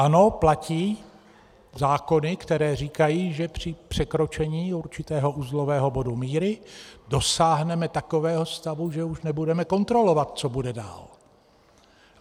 Ano, platí zákony, které říkají, že při překročení určitého uzlového bodu míry dosáhneme takového stavu, že už nebudeme kontrolovat, co bude dál.